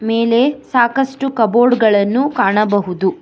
ಮೇಲೆ ಸಾಕಷ್ಟು ಕಬೋರ್ಡ್ ಗಳನು ಕಾಣಬಹುದು.